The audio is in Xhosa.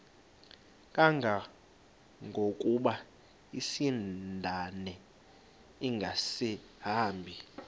kangangokuba isindane ingasahambi